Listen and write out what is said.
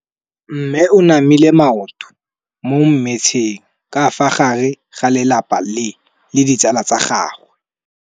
Mme o namile maoto mo mmetseng ka fa gare ga lelapa le ditsala tsa gagwe.